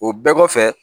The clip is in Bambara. O bɛɛ kɔfɛ